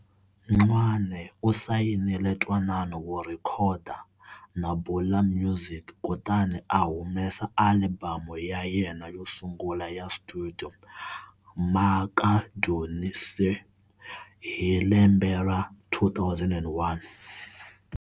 Ncwane u sayinile ntwanano wo rhekhoda na Bula Music kutani a humesa alibamu ya yena yo sungula ya studio"Makadunyiswe" hi lembe ra 2001.